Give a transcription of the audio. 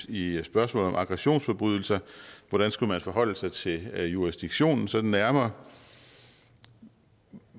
i spørgsmålet om aggressionsforbrydelser hvordan skulle man forholde sig til jurisdiktionen sådan nærmere